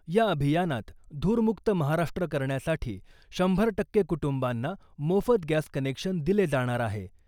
या अभियानात धूरमुक्त महाराष्ट्र करण्यासाठी शंभर टक्के कुटुंबांना मोफत गॅस कनेक्शन दिले जाणार आहे .